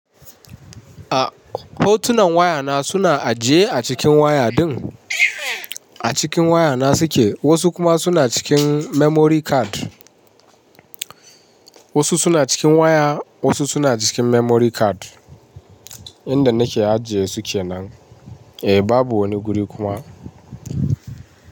A hotunan waya na suna ajiye a cikin waya din. A cikin waya na suke, wasu kuma suna cikin memory card. Wasu suna cikin waya, wasu suna cikin memory card. Inda nake ajiye su ke nan. Eh babu wani guri kuma.